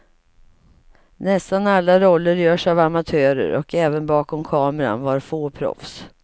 Nästan alla roller görs av amatörer och även bakom kameran var få proffs.